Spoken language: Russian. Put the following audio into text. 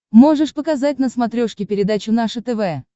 можешь показать на смотрешке передачу наше тв